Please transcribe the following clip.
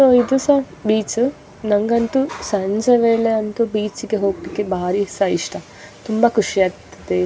So ಇದು ಸಹ beach ನನಗೆ ಬೀಚ್ ಗೆ ಹೊಗಳಿಕೆ ಬಹಳ ಇಷ್ಟ ತುಂಬ ಖುಷಿ ಆಗುತ್ತೆ.